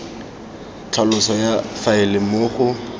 tlhaloso ya faele moo go